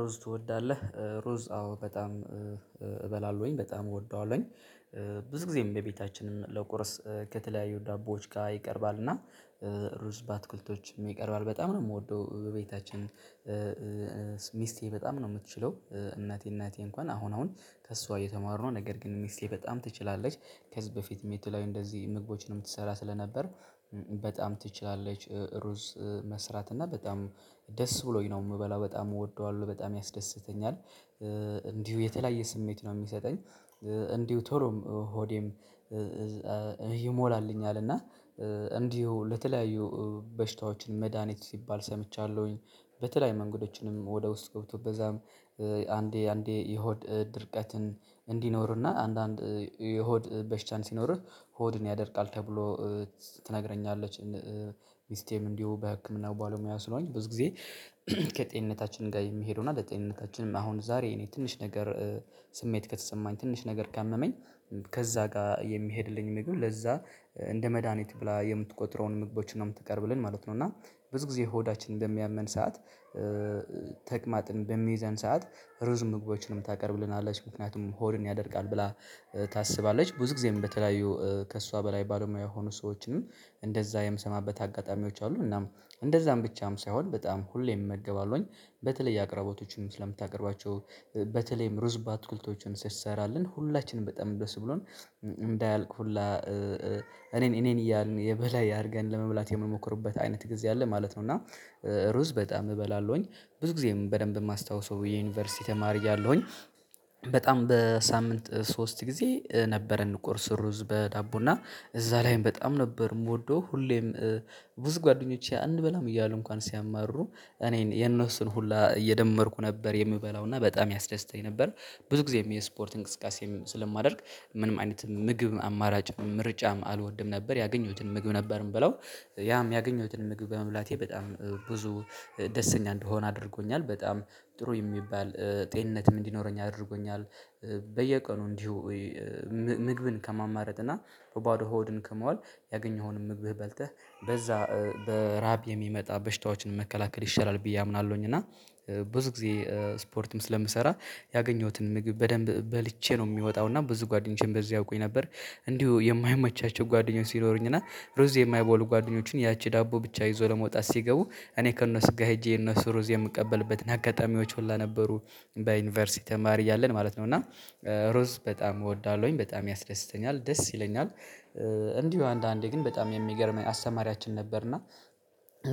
ሩዝ ትወዳለህ? ሩዝ አዎ በጣም እበላለሁኝ በጣም እወደዋለሁኝ። ብዙ ጊዜም በቤታችንም ለቁርስ ከተለያዩ ዳቦዎች ጋር ይቀርባል እና ሩዝ በአትክልቶች ይቀርባል በጣም ነው የምወደው። ቤታችን ሚስቴ በጣም ነው የምትችለው እናቴ እናቴ እንኳን አሁን አሁን ከእሷ እየተማሩ ነው ነገር ግን ሚስቴ በጣም ትችላለች። ከህዝብ በፊትም የተለያዩ እንደዚህ ምግቦችንም ትሰራ ስለነበር በጣም ትችላለች ሩዝ መስራት እና በጣም ደስ ብሎኝ ነው የምበላው በጣም እወደዋለሁ በጣም ያስደስተኛል። እንዲሁ የተለያየ ስሜት ነው የሚሰጠኝ እንዲሁ ቶሎም ሆዴም ይሞላልኛል እና እንዲሁ ለተለያዩ በሽታዎችን መድሃኒት ሲባል ሰምቻለሁኝ በተለይ መንገዶችንም ወደ ውስጥ ገብቶ በዛም አንዴ አንዴ የሆድ ድርቀትን እንዲኖርና አንዳንድ የሆድ በሽታን ሲኖርህ ሆድን ያደርቃል ተብሎ ትነግረኛለች። ሚስቴም እንዲሁ በህክምናው ባለሙያ ስለሆነች ብዙ ጊዜ ከጤንነታችን ጋር የሚሄደውና ለጤንነታችንም አሁን ዛሬ እኔ ትንሽ ነገር ስሜት ከተሰማኝ ትንሽ ነገር ካመመኝ ከዛ ጋር የሚሄድልኝ ምግብ ለዛ እንደ መድሃኒት ብላ የምትቆጥረውን ምግቦችን ነው የምትቀርብልን ማለት ነው። እና ብዙ ጊዜ ሆዳችን እንደሚያመን ሰዓት ተቅማጥን በሚይዘን ሰዓት ሩዝ ምግቦችን ታቀርብልናለች ምክንያቱም ሆድን ያደርጋል ብላ ታስባለች። ብዙ ጊዜም በተለያዩ ከእሷ በላይ ባለሙያ የሆኑ ሰዎችንም እንደዛ የምሰማበት አጋጣሚዎች አሉ እናም እንደዛም ብቻም ሳይሆን በጣም ሁሌም እመገባለሁኝ። በተለይ አቅራቦቶችን ስለምታቀርባቸው በተለይም ሩዝ በትኩልቶችን ስሰራለን ሁላችንም በጣም ደስብሎን እንዳያልቅ ሁላ እኔን እኔን እያልን የበላይ አርገን ለመብላት የምንሞክርበት አይነት ጊዜ አለ ማለት ነው። እና ሩዝ በጣም እበላለሁኝ ብዙ ጊዜም በደንብ የማስታውሰው የዩኒቨርሲቲ ተማሪ እያለሁኝ በጣም በሳምንት ሶስት ጊዜ ነበረን ቁርስ ሩዝ በዳቦ እና እዛ ላይም በጣም ነበር የምወደው ሁሌም ብዙ ጓደኞቼ አንበላም እያሉ እንኳን ሲያማሩ እኔን የነሱን ሁላ እየደመርኩ ነበር የምበላው እና በጣም ያስደስተኝ ነበር። ብዙ ጊዜም የስፖርት እንቅስቃሴም ስለማደርግ ምንም አይነት ምግብ አማራጭ ምርጫም አልወድም ነበር ያገኘሁትን ምግብ ነበር የምበለው ያም ያገኘሁትን ምግብ በመሙላቴ በጣም ብዙ ደስተኛ እንደሆነ አድርጎኛል በጣም ጥሩ የሚባል ጤንነትም እንዲኖረኝ አድርጎኛል። በየቀኑ እንዲሁ ምግብን ከማማረጥና በባዶ ሆድን ከመዋል ያገኘኸውንም ምግብህ በልተህ በዛ በራብ የሚመጣ በሽታዎችን መከላከል ይሻላል ብዬ አምናለሁኝ። እና ብዙ ጊዜ ስፖርትም ስለምሰራ ያገኘሁትን ምግብ በደንብ በልቼ ነው የሚወጣው እና ብዙ ጓደኞቼም በዚህ ያውቁኝ ነበር እንዲሁ የማይመቻቸው ጓደኞች ሲኖሩኝ እና ሩዝ የማይበሉ ጓደኞችን ያቺ ዳቦ ብቻ ይዞ ለመውጣት ሲገቡ እኔ ከእነሱ ጋር ሄጄ እነሱ ሩዝ የምቀበልበትን አጋጣሚዎች ሁሉ ነበሩ። በዩኒቨርሲቲ ተማሪ እያለን ማለት ነው። እና ሩዝ በጣም እወዳለሁኝ በጣም ያስደስተኛል ደስ ይለኛል። እንዲሁ አንዳንዴ ግን በጣም የሚገርመኝ አስተማሪያችን ነበርና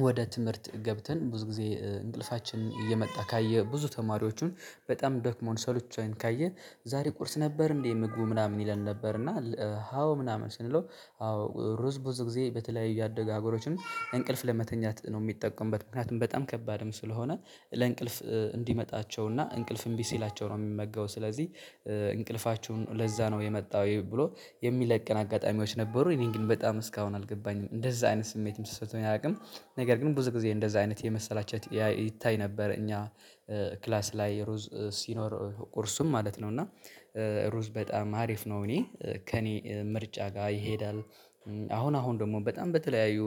ወደ ትምህርት ገብተን ብዙ ጊዜ እንቅልፋችን እየመጣ ካየህ ብዙ ተማሪዎቹን በጣም ደክሞን ሰልችቶን ካየን ዛሬ ቁርስ ነበር እንዴ ምግቡ ምናምን ይለን። ነበር እና አዎ ምናምን ስንለው አዎ ሩ ሩዝ ብዙ ጊዜ በተለያዩ ያደጉ ሀገሮችን እንቅልፍ ለመተኛት ነው የሚጠቀሙበት ምክንያቱም በጣም ከባድም ስለሆነ ለእንቅልፍ እንዲመጣቸው እና እንቅልፍ እምቢ ሲላቸው ነው የሚመገቡት ስለዚህ እንቅልፋችሁ ለዛ ነው የመጣው ብሎ የሚለቅን አጋጣሚዎች ነበረ እኔን ግን በጣም እስካሁን አልገባኝም እንደዛ አይነት ስሜትም ተስምቶኝ አያውቅም። ነገር ግን ብዙ ጊዜ እንደዛ አይነት የመሰላቸት ይታይ ነበር እኛ ክላስ ላይ ሩዝ ሲኖር ቁርሱም ማለት ነው። እና ሩዝ በጣም አሪፍ ነው እኔ ከእኔ ምርጫ ጋር ይሄዳል። አሁን አሁን ደግሞ በጣም በተለያዩ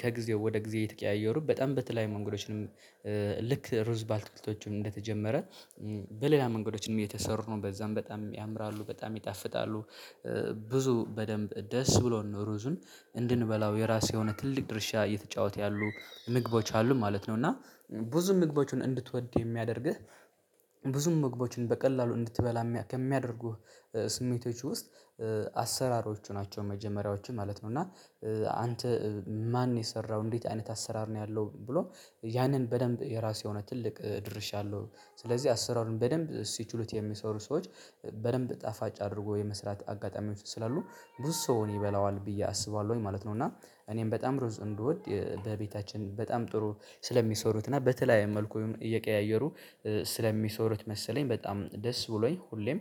ከጊዜው ወደ ጊዜ የተቀያየሩ በጣም በተለየ መንገዶችንም ልክ ሩዝ ባትክልቶች እንደተጀመረ በሌላ መንገዶችንም እየተሰሩ ነው በዛም በጣም ያምራሉ በጣም ይጣፍጣሉ። ብዙ በደንብ ደስ ብሎን ሩዙን እንድንበላው የራሴ የሆነ ትልቅ ድርሻ እየተጫወተ ያሉ ምግቦች አሉ ማለት ነው። እና ብዙ ምግቦችን እንድትወድ የሚያደርግህ ብዙ ምግቦችን በቀላሉ እንድትበላ ከሚያደርጉህ ስሜቶች ውስጥ አሰራሮቹ ናቸው መጀመሪያዎችም ማለት ነው። እና አንተ ማን የሰራው እንዴት አይነት አሰራር ነው? ያለው ብሎ ያንን በደንብ የራሴ የሆነ ትልቅ ድርሻለሁ ስለዚህ አሰራሩ በደንብ ሲችሉት የሚሰሩ ሰዎች በደንብ ጣፋጭ አድርጎ የመስራት አጋጣሚ ስላሉ ብዙ ሰው እኔ ይበላዋል ብዬ አስባለሁኝ ማለት ነው። እና እኔም በጣም ሩዝ እንድወድ በቤታችን በጣም ጥሩ ስለሚሰሩት እና በተለያየ መልኩ እየቀያየሩ ስለሚሰሩት መሰለኝ በጣም ደስ ብሎኝ ሁሌም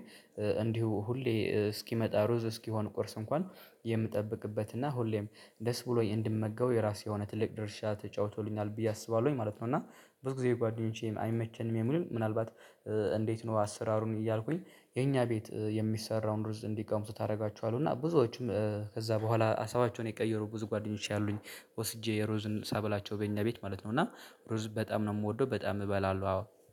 እንዲሁ ሁሌ እስኪመጣ ሩዝ እስኪሆን ቁርስ እንኳን የምጠብቅበት እና ሁሌም ደስ ብሎኝ እንድመገበው የራሴ የሆነ ትልቅ ድርሻ ተጫውቶልኛል ብዬ አስባለሁኝ ማለት ነው። እና ብዙ ጊዜ ጓደኞቼም አይመቸንም የሚሉ ምናልባት እንዴት ነው አሰራሩን እያልኩኝ? የኛ ቤት የሚሰራውን ሩዝ እንዲቀምሱት አደርጋቸዋለሁ እና ብዙዎችም ከዛ በኋላ ሀሳባቸውን የቀየሩ ብዙ ጓደኞች ያሉኝ ወስጄ የሩዝን ሳበላቸው በኛ ቤት ማለት ነው። እና ሩዝ በጣም ነው የምወደው በጣም እበላለሁ አዎ።